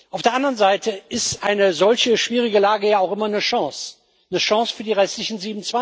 Auf der anderen Seite ist eine solch schwierige Lage auch immer eine Chance, eine Chance für die restlichen